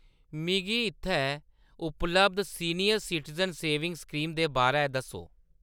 मिगी इत्थै उपलब्ध सीनियर सिटिजन सेविंग स्कीम दे बारै दस्सो !